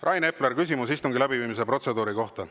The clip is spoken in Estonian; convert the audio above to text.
Rain Epler, küsimus istungi läbiviimise protseduuri kohta.